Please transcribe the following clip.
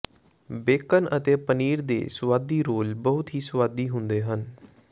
bacon ਅਤੇ ਪਨੀਰ ਦੇ ਸੁਆਦੀ ਰੋਲ ਬਹੁਤ ਹੀ ਸੁਆਦੀ ਹੁੰਦੇ ਹਨ